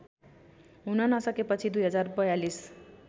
हुन नसकेपछि २०४२